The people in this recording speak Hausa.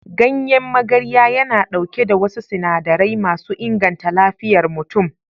Ganyen magarya yana ɗauke da wasu sinadarai masu inganta lafiyar mutum.